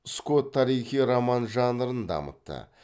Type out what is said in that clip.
скотт тарихи роман жанрын дамытты